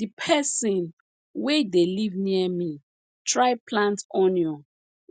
the person wey dey live near me try plant onion